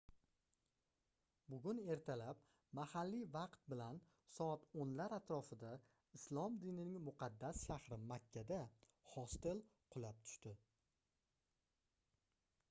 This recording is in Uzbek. bugun ertalab mahalliy vaqt bilan soat 10 lar atrofida islom dinining muqaddas shahri makkada hostel qulab tushdi